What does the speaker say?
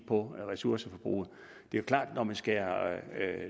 på ressourceforbruget det er klart at når man skærer